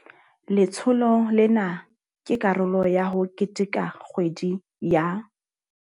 Letsholo lena ke karolo ya ho keteka kgwedi ya.